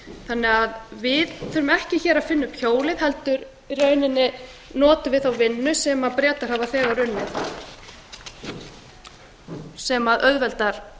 þannig að við þurfum ekki hér að finna upp hjólið heldur í rauninni notum við þá vinnu sem bretar hafa þegar unnið sem auðveldar